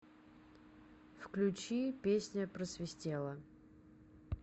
включи песня просвистела